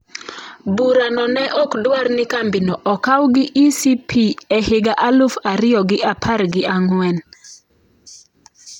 Burano ne ok dwar ni kambino okaw gi ECP e higa aluf ariyo gi apar gi ang'wen.